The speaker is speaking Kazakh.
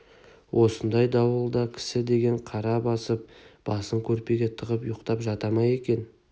осындай дауылда кісі деген қара басып басын көрпеге тығып ұйықтап жата ма екен